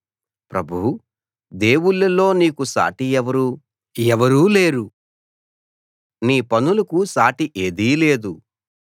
ప్రభూ దేవుళ్ళలో నీకు సాటి ఎవరూ లేరు నీ పనులకు సాటి ఏదీ లేదు